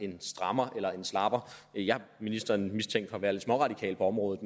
en strammer eller en slapper jeg har ministeren mistænkt for at være lidt småradikal på området